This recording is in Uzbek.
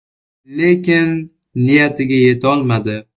Lekin niyatiga yetolmadi.